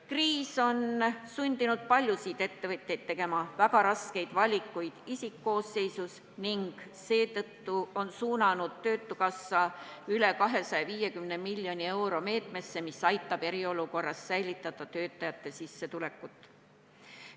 Kriis on sundinud paljusid ettevõtjaid tegema väga raskeid valikuid isikkoosseisus ning seetõttu on töötukassa suunanud üle 250 miljoni euro meetmesse, mis aitab eriolukorras töötajate sissetulekut säilitada.